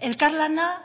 elkarlana